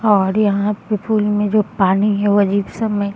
और यहाँ पे पूल में जो पानी है वो अजीब सा मे --